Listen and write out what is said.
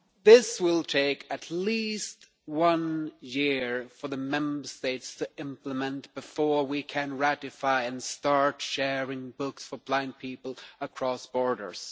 It will take at least a year for the Member States to implement this before we can ratify and start sharing books for blind people across borders.